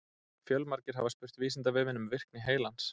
Fjölmargir hafa spurt Vísindavefinn um virkni heilans.